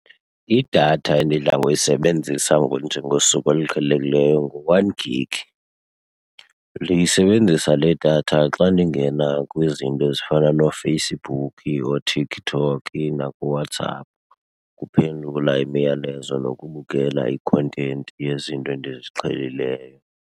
Idatha endidla ngoyisebenzisa nje ngosuku oluqhelekileyo ngu-one gig. Ndiyisebenzisa le datha xa ndingena kwizinto ezifana nooFacebook, ooTikTok nakuWhatsApp, ukuphendula imiyalezo nokubukela i-content yezinto endiziqhelileyo.